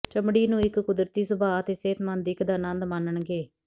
ਚਮੜੀ ਨੂੰ ਇੱਕ ਕੁਦਰਤੀ ਸੁਭਾ ਅਤੇ ਸਿਹਤਮੰਦ ਦਿੱਖ ਦਾ ਆਨੰਦ ਮਾਣਨਗੇ